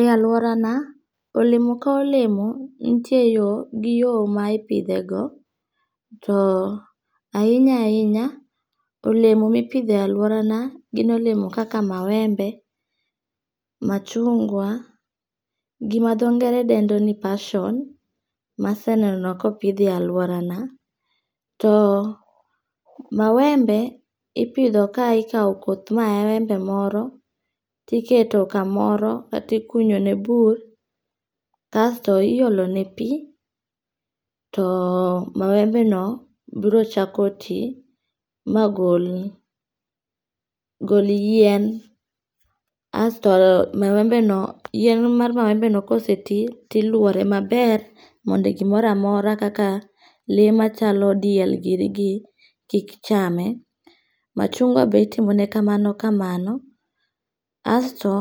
E aluorana, olemo ka olemo nitie yo gi yo ma ipithego, to ahinya ahinya, olemo ma ipitho e aluorana gin olemo kaka mawembe, machungwa gi ma tho ngere dendo ni passion mase neno kopithie e aluorana , to mawembe ipidho ka ikawo koth mawembe moro to iketo kamoro kata ikunyone bur kasto iyolone pi too mawembeno biro chako ti magol gol yien, asto mawembeno yien mar mawembeno koseti tilwore maber mondo gimoro amora kaka le machalo diel ginigi kik ichame, machuangwa be itimone kamano kamano, asto